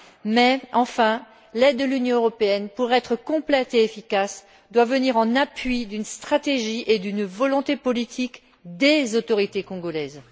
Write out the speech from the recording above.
Mais, enfin, l'aide de l'Union européenne, pour être complète et efficace, doit venir en appui d'une stratégie et d'une volonté politique des autorités congolaises.